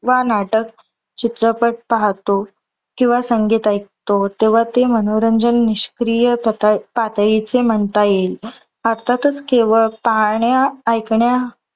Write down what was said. व नाटक, चित्रपट पाहतो किंवा संगीत ऐकतो. तेव्हा ते मनोरंजन निष्क्रिय प्रकार पातळीचे म्हणता येईल. अर्थातच केवळ पाहण्या, ऐकण्या